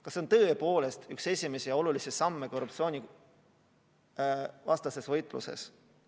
Kas see peab tõepoolest olema üks esimesi samme korruptsioonivastases võitluses?